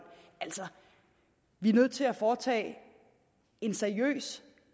altså vi er nødt til at foretage en seriøs